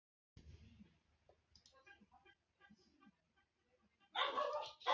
Guðný: Kannski hátt bensínverð, hver veit?